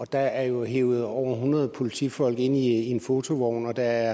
der er jo hevet over hundrede politifolk ind i fotovogne og der